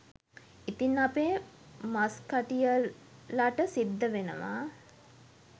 ඉතින් අපේ මස්කටියර්ලට සිද්ධ වෙනවා